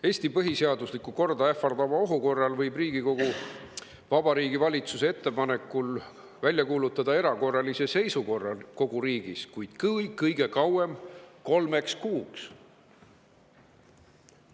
Eesti põhiseaduslikku korda ähvardava ohu korral võib Riigikogu Vabariigi Valitsuse ettepanekul välja kuulutada erakorralise seisukorra kogu riigis, kuid kõige kauem kolmeks kuuks.